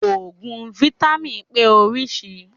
Òògùn fítámìn pé orísìí.